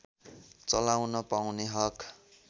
चलाउन पाउने हक